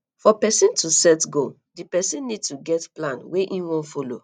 for person to set goal di person need to get plan wey im wan follow